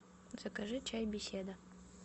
закажи чай беседа